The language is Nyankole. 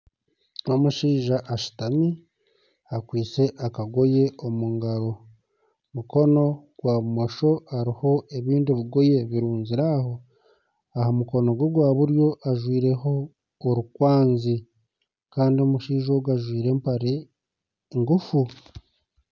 N'omushaija ashuutami akwaitse akagoye omu ngaaro mukono gwa bumosho hariho ebindi bigoye birunzire aho, aha mukono gwe gwa buryo ajwaireho orukwazi kandi omushaija ogu ajwaire empare nguufu.